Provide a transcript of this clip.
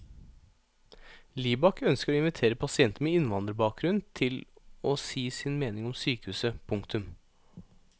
Libak ønsker å invitere pasienter med innvandrerbakgrunn til å si sin mening om sykehuset. punktum